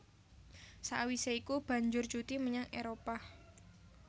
Sakwisé iku banjur cuti menyang Éropah